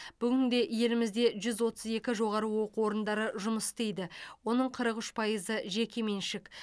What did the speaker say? бүгінде елімізде жүз отыз екі жоғары оқу орындары жұмыс істейді оның қырық үш пайызы жекеменшік